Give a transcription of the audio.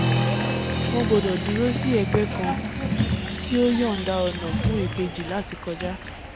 wọn gbọdọ̀ dúró sí ẹ̀gbẹ́ kan kí ó yọ̀nda ọ̀nà fún èkejì láti kọjá